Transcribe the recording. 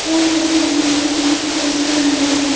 यह तस्वीर एक रेस्टोरेंट का है।